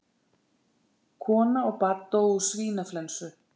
Kona og barn dóu úr svínaflensu